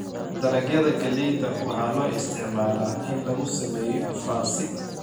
Dalagyada galleyda waxaa loo isticmaalaa in lagu sameeyo faasi.